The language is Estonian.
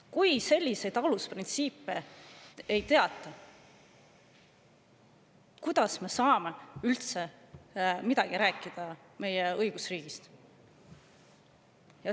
Kui selliseid alusprintsiipe ei teata, kuidas me saame siis üldse rääkida meie õigusriigist?